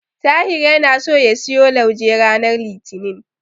Tahir yana so ya siyo lauje ranar Litinin.